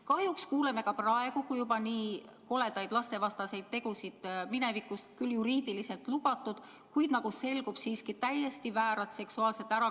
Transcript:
Kahjuks kuuleme juba praegu nii koledatest lastevastastest tegudest, mis minevikus olid küll juriidiliselt lubatud, kuid mis, nagu selgub, oli siiski täiesti väär seksuaalne ärakasutamine.